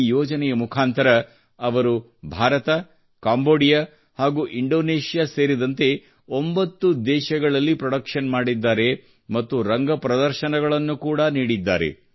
ಈ ಯೋಜನೆಯ ಮುಖಾಂತರ ಅವರು ಭಾರತ ಕಾಂಬೋಡಿಯಾ ಹಾಗೂ ಇಂಡೋನೇಷ್ಯಾ ಸೇರಿದಂತೆ 9 ದೇಶಗಳಲ್ಲಿ ಪ್ರೊಡಕ್ಷನ್ ಮಾಡಿದ್ದಾರೆ ಮತ್ತು ರಂಗ ಪ್ರದರ್ಶನಗಳನ್ನು ಕೂಡಾ ನೀಡಿದ್ದಾರೆ